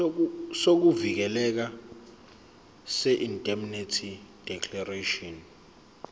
sokuvikeleka seindemnity declaration